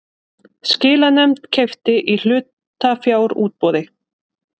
Skilanefnd keypti í hlutafjárútboði